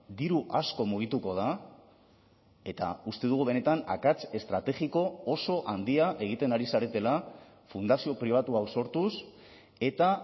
diru asko mugituko da eta uste dugu benetan akats estrategiko oso handia egiten ari zaretela fundazio pribatu hau sortuz eta